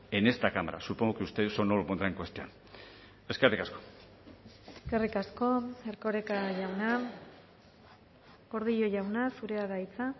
en esta cámara supongo que usted eso no lo pondrá en cuestión eskerrik asko eskerrik asko erkoreka jauna gordillo jauna zurea da hitza